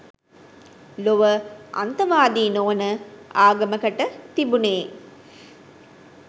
ලොව අන්තවාදී නොවන ආගමකට තිබුනෙ.